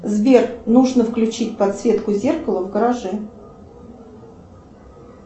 сбер нужно включить подсветку зеркала в гараже